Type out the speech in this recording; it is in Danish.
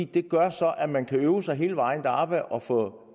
det gør så at man kan øve sig og få